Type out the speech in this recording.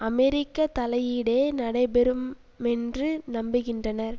அமெரிக்க தலையீடே நடைபெறுமென்று நம்புகின்றனர்